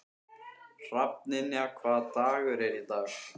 Hrafnynja, hvaða dagur er í dag?